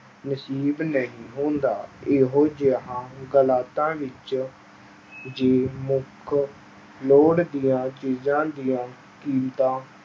ਨਸੀਬ ਨਹੀਂ ਹੁੰਦਾ ਇਹੋ ਜਿਹਾ ਵਿੱਚ ਜੇ ਮੁੱਖ ਲੋੜ ਦੀਆਂ ਚੀਜ਼ਾਂ ਦੀਆਂ ਕੀਮਤਾਂ